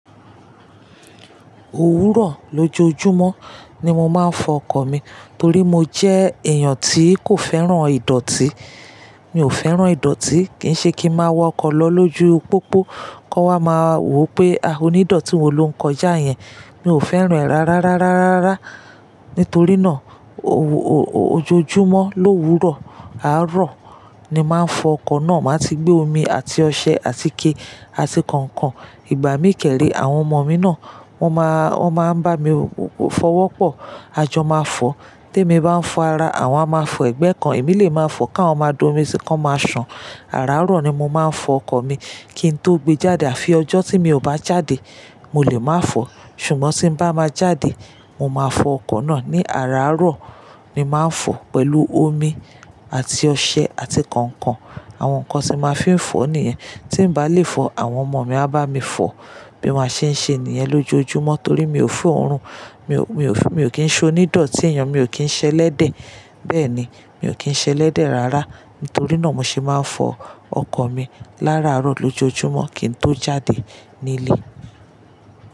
Òwúrọ̀ lójoojúmọ́ ni mo máa ń fọ ọkọ̀ mi torí mo jẹ́ èèyàn tí kò fẹ́ràn ìdọ̀tí. Mi ò fẹ́ràn ìdọ̀tí, kì í ṣe kí ń máa wa ọkọ̀ lọ lójú pópó kan wa máa wo pé ah onídọ̀tí wo ló ń kọjá yẹn. Mi ò fẹ́ràn rárárárárárá. Nítorí náà ojoojúmọ́ l'òwúrọ̀, àárọ̀ ni màá ń fọ ọkọ̀ náà. Màá ti gbé omi àti ọṣẹ àti ike àti kọ̀ọ̀kan. Ìgbà mí kẹ́rẹ́ àwọn ọmọ mi náà wọ́n máa ń bá mi fọwọ́pọ̀, a jọ máa fọ. Tí èmi bá ń fọ ara, àwọn a máa fọ ẹ̀gbẹ́ kan. Èmi lè máa fọ káwọn máa dómi sí kí wọ́n máa sàn. Àárọ̀ ni mo máa ń fọ ọkọ̀ mi kí n tó gbé jáde. Àfi ọjọ́ tí mi ò bá jáde, mo lè máa fọ. Ṣùgbọ́n tí bá máa jáde, mo máa fọ ọkọ̀ náà ní àárọ̀. Ni máa ń fọ pẹ̀lú omi àti ọṣẹ àti kọ̀ọ̀kan. Àwọn nǹkan tí màá fí ń fọ nìyẹn. Tí bàá lè fọ, àwọn ọmọ mi á bá mi fọ bí wọ́n ṣe ń ṣe nìyẹn lójoojúmọ́ torí mi ò fòórùn, mi ò kín se onídọ̀tí èèyàn, mi ò kín ṣẹ elede Bẹ́ẹ̀ ni, mi ò kín ṣẹ elede rárá. Nítorí náà mo ṣe máa ń fọ ọkọ̀ mi l'áràárọ̀ lójoojúmọ́ kí n tó jáde nílé.